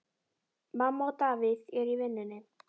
Mamma og Davíð eru í vinnunni.